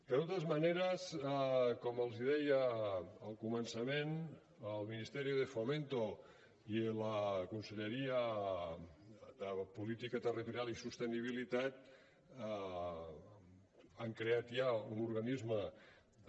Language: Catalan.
de totes maneres com els deia al començament el ministerio de fomento i la conselleria de territori i sostenibilitat han creat ja un organisme de